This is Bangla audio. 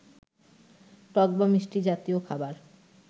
টক বা মিষ্টি জাতীয় খাবার